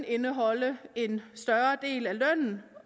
indeholde en større del af lønnen